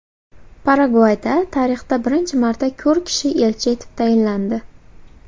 Paragvayda tarixda birinchi marta ko‘r kishi elchi etib tayinlandi.